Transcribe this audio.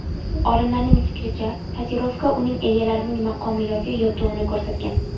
Olimlarning fikricha, tatuirovka uning egalarining maqomi yoki yutug‘ini ko‘rsatgan.